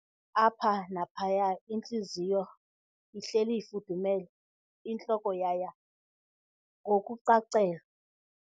- apha naphaya intliziyo ihleli ifudumele, intloko yaya ngokucacelwa.